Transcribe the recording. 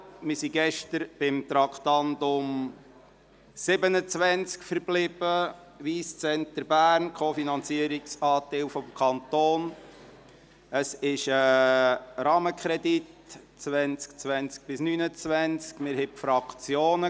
Wir sind gestern beim Traktandum 27 verblieben, dem Co-Finanzierungsanteil des Kantons Bern zum Wyss Centre Bern.